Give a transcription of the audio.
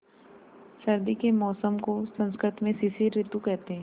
सर्दी के मौसम को संस्कृत में शिशिर ॠतु कहते हैं